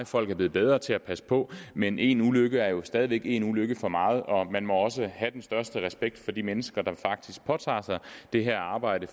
folk er blevet bedre til at passe på men én ulykke er jo stadig væk en ulykke for meget og man må også have den største respekt for de mennesker der faktisk påtager sig det her arbejde